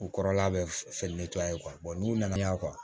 U kɔrɔla bɛ n'u nana n'a ye